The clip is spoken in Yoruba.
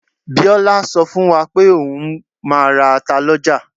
Biola sọ fún wa pe oun máa ra ata lọ́jà.